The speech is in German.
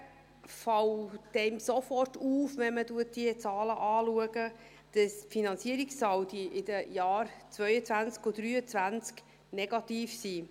Hingegen fällt einem sofort auf, wenn man diese Zahlen anschaut, dass die Finanzierungssaldi in den Jahren 2022 und 2023 negativ sind.